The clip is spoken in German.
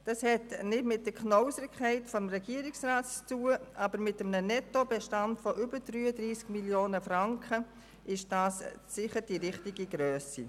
Das hat nicht mit der Knausrigkeit des Regierungsrats zu tun, aber bei einem Nettobestand von mehr als 33 Mio. Franken ist das sicher die richtige Grössenordnung.